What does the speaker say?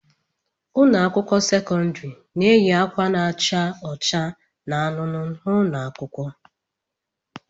Ụlọ akwụkwọ sekọndrị na-eyi ọcha na-acha anụnụ n'ụlọ akwụkwọ.